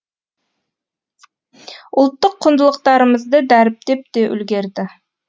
ұлттық құндылықтарымызды дәріптеп те үлгерді